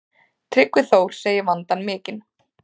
Tryggvi Þór segir vandann mikinn.